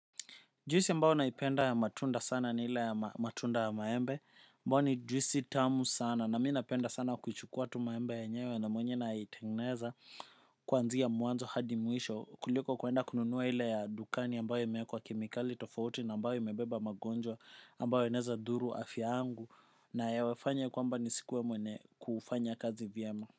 Juisi ambao naipenda ya matunda sana ni ile ya matunda ya maembe ambao ni juisi tamu sana na mii napenda sana kuchukua tu maembe yenyewe na mwenye na itengeneza kuanzia muanzo hadi mwisho kuliko kuenda kununua ile ya dukani ambayo yemeekwa kemikali tofauti na ambayo imebeba magonjwa ambayo yanaeza dhuru afya angu na ya wafanya kwamba ni sikuwe mwenye kufanya kazi vyema.